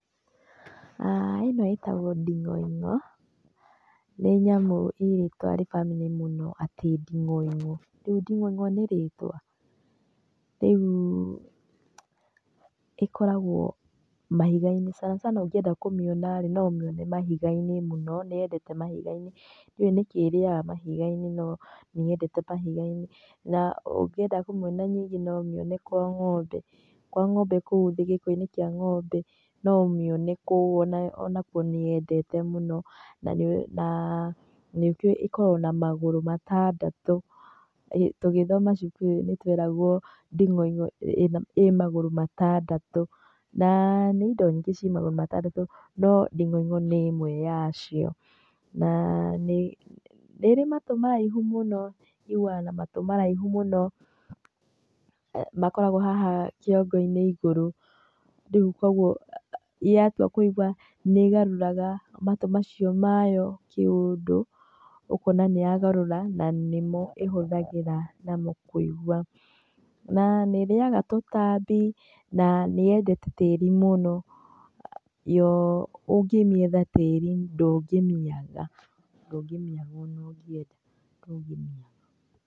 Ah Ĩno ĩtagwo ndingoingo, nĩ nyamũ ĩ rĩtwa funny mũno atĩ ndiongoingo. Rĩu ndingoingo nĩ rĩtwa? Rĩu ĩkoragwo mahigainĩ sana sana ũngĩenda kũmĩona rĩ, no ũmĩone mahigainĩ mũno, nĩyendeete mahigainĩ. Ndiũĩ nĩkĩ ĩrĩaga mahigainĩ no nĩyendete mahigainĩ na ũngĩenda kũmiona ningĩ no ũmĩone kwa ngombe. Kwa ngombe kũu thĩ gĩkoinĩ kĩa ngombe no ũmĩone kũu ona ona kuo nĩyendete mũno na nĩngĩ ikoragwo na magũrũ matandatũ, ĩ tũgĩthoma cukuruinĩ tweragwo ndingoingo ĩ magũrũ matandatũ na nĩ indo nyingĩ ci magũrũ matandatũ no ndingoingo nĩ ĩmwe yacio. Na nĩ ĩrĩ matũ maraihu mũno ĩiguaga na matũ maraihu mũno. Makoragwo haha kiongoinĩ igũrũ, rĩũ koguo yatua kũigua nĩgaruraga matũ macio mayo kĩũndũ ũkona nĩyagarũra na nĩmo ĩhũthagĩra namo kũigua, na niĩrĩaga tũtambi na nĩyendete mũno yo ũngĩmĩetha tĩrinĩ ndũngĩmĩaga, ndũngĩmĩaga ona ũngienda.